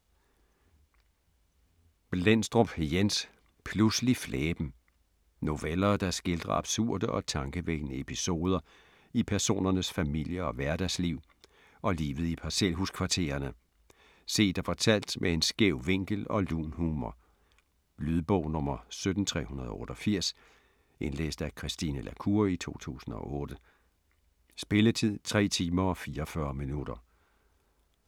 Blendstrup, Jens: Pludselig flæben Noveller, der skildrer absurde og tankevækkende episoder i personernes familie- og hverdagsliv og livet i parcelhuskvartererne - set og fortalt med en skæv vinkel og lun humor. Lydbog 17388 Indlæst af Christine la Cour, 2008. Spilletid: 3 timer, 44 minutter.